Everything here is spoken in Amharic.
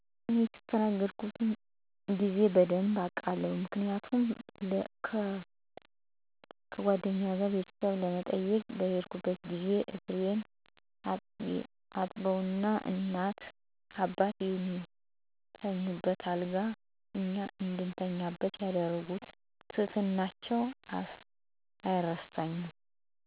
እኔ የተስተናገድኩበትን ጊዜ በደንብ አስታውሳለሁ. ምክንያቱም ከጉአደኛዬ ጋር ቤተሰቡን ለመጠየቅ በሄድኩበት ጊዜ እግሬን አጥበው, እናት እና አባቱ የሚተኙበትን አልጋ እኛ እንድንተኛበት ያደረጉበት ትህትናቸው አይረሳኝም.